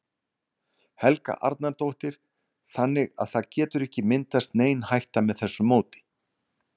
Helga Arnardóttir: Þannig að það getur ekki myndast nein hætta með þessu móti?